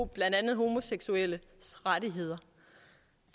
blandt andet homoseksuelles rettigheder